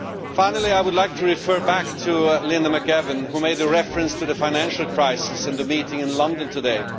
Finally, I would like to refer back to Ms McAvan, who made a reference to the financial crisis and the meeting in London today.